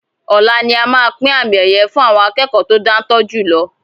Ọlá ni a máa pín àmì ẹ̀yẹ fun àwọn akẹ́kọ̀ to dantọ́ jùlọ